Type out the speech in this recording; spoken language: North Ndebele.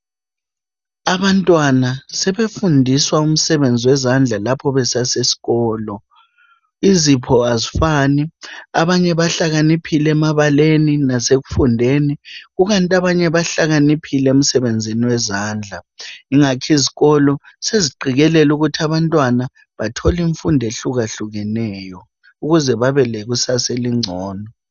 Abantwana sebefundiswa umsebenzi wezandla lapha besaseskolo. Izipho azifani, abanye bahlakaniphile emabaleni nasekufundeni kukanti abanye bahlakaniphile emsebenzini wezandla. Ingathi izikolo seziqikelela ukuthi abantwana bathole imfundo ehlukahlukeneyo ukuze babe lekusasa elingcono.